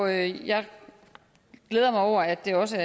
jeg jeg glæder mig over at der også